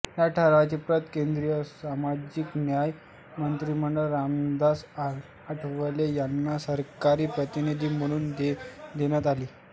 या ठरावांची प्रत केंद्रीय सामाजिक न्याय राज्यमंत्री रामदास आठवले यांना सरकारी प्रतिनिधी म्हणून देण्यात आली